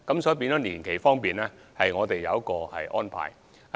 所以，在年期方面我們有靈活安排。